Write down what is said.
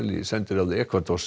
í sendiráði